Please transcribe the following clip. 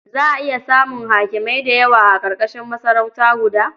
Za a iya samun hakimai da yawa a ƙarƙashin masarauta guda.